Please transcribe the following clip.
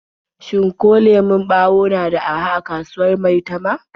Shin ko lemon ɓawo na da araha a kasuwar Maitama?